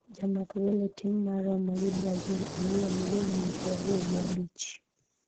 jamak gol e tim mar Roma gi Brazil, Aliya ma ja higni piero ariyo gi abich ,